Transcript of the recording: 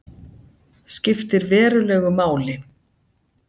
Skiptir verulegu máli